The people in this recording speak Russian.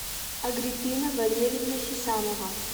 агриппина валерьевна хисамова